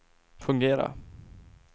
fungera